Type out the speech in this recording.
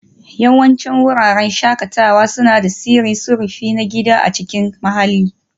Yawancin wuraren shakatawa suna da tsarin sufuri na gida a cikin mahalli